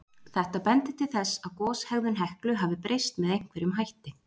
Þetta bendir til þess að goshegðun Heklu hafi breyst með einhverjum hætti.